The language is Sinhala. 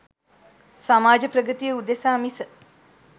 සමාජ ප්‍රගතිය උදෙසා මිස